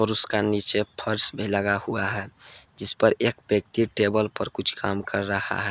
उसका नीचे फर्श भी लगा हुआ है जिस पर एक व्यक्ति टेबल पर कुछ काम कर रहा है।